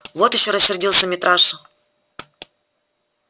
вот ещё рассердился митраша